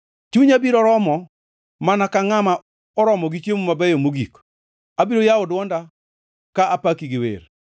Chunya biro romo mana ka ngʼama oromo gi chiemo mabeyo mogik; abiro yawo dwonda ka apaki gi wer.